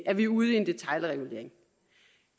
at vi er ude i en detailregulering